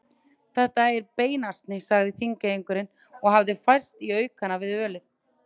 Þetta er beinasni, sagði Þingeyingur og hafði færst í aukana við ölið.